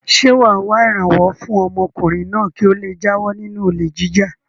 Ṣé wà á wá ìrànwọ́ fún ọmọkùnrin náà kí ó le jáwọ́ nínú olè jíjà?